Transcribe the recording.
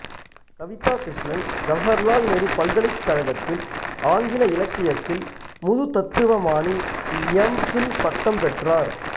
கவிதா கிருஷ்ணன் ஜவகர்லால் நேரு பல்கலைக்கழகத்தில் ஆங்கில இலக்கியத்தில் முதுதத்துவமாணி எம் பில் பட்டம் பெற்றார்